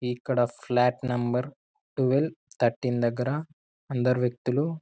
ఇక్కడ flat number twelve థర్టీన్ద దగ్గర కొందరు వ్యక్తులు